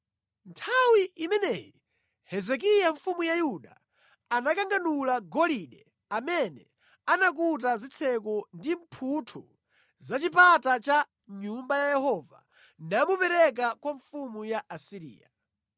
Nthawi imeneyi Hezekiya mfumu ya Yuda anakanganula golide amene anakuta zitseko ndi mphuthu za chipata cha Nyumba ya Yehova namupereka kwa mfumu ya ku Asiriya.